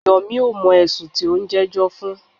Yomi ò mọ̀ ẹ̀sùn tí o ń jẹ́jọ́ fún.